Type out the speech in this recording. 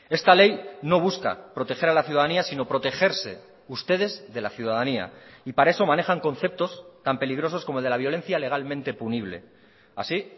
esta ley no busca proteger a la ciudadanía sino protegerse ustedes de la ciudadanía y para eso manejan conceptos tan peligrosos como el de la violencia legalmente punible así